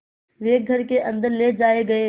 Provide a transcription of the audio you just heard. वे घर के अन्दर ले जाए गए